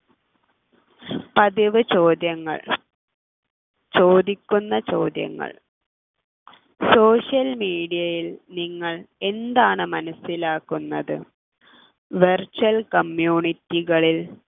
പതിവ് ചോദ്യങ്ങൾ ചോദിക്കുന്ന ചോദ്യങ്ങൾ social media യിൽ നിങ്ങൾ എന്താണ് മനസ്സിലാക്കുന്നത് virtual community കളിൽ